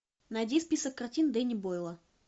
найди список картин дэнни бойла